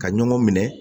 Ka ɲɔgɔn minɛ